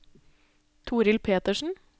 Torill Petersen